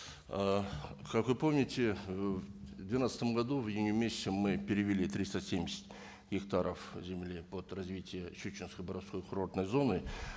ыыы как вы помните ы в двенадцатом году в июне месяце мы перевели триста семьдесят гектаров земли под развитие щучинско боровской курортной зоны